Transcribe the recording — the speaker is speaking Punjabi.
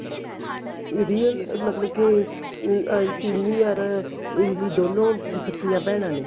real ਮਤਲਬ ਕੀ ਅਹ ਚੀਰੀ or ਇਮਲੀ ਦੋਨੋ ਸਕੀਆਂ ਭੈਣਾ ਨੇ